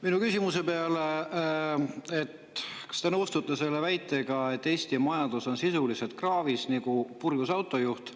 Minu küsimuse peale, kas te nõustute selle väitega, et Eesti majandus on sisuliselt kraavis nagu purjus autojuht,